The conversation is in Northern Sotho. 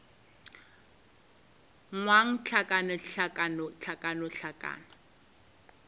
ngwang hlakana hlakana hlakana hlakana